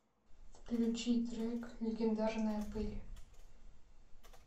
включи трек легендарная пыль